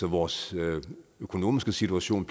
vores økonomiske situation